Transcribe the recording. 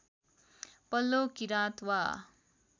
पल्लो किराँत वा